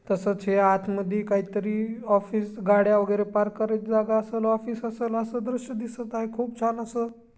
तसच हे आत मधी काही तरी ऑफिस गाड्या वगैरे पार्क करायची जागा असेल. ऑफिस असेल अस दृश्य दिसत आहे. खूप छान अस--